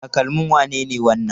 Takalmin wane ne wannan?